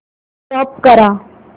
stop करा